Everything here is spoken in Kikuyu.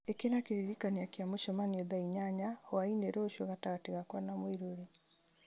ĩkĩra kĩririkania kĩa mũcemanio thaa inyanya hwaĩ-inĩ rũciũ gatagatĩ gakwa na mũirũrĩ